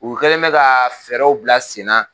U kɛlen bɛ ka fɛɛrɛw bila senna